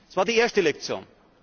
Das war die erste Lektion.